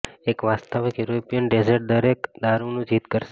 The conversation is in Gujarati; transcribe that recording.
એક વાસ્તવિક યુરોપિયન ડેઝર્ટ દરેક દારૂનું જીત કરશે